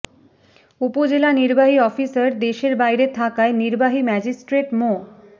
উপজেলা নির্বাহী অফিসার দেশের বাইরে থাকায় নির্বাহী ম্যাজিষ্ট্রেট মো